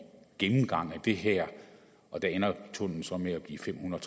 gennemgang af det her og der ender tunnellen så med at blive fem hundrede